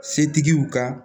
Setigiw ka